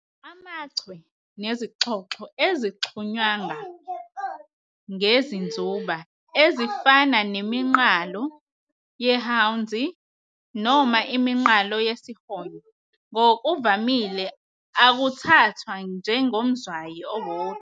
AmaChwe nezixhoxho ezixhunywanga ngezinzuba, ezifana neminqalo yeHwanzi noma iminqalo yesihonyo, ngokuvamile akuthathwa njengomzwayi owodwa.